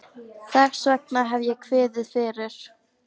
Þess vegna hef ég kviðið fyrir.